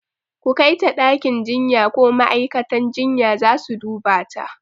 ku Kaita ɗakin jinya ko ma'aikatan jinya zasu dubata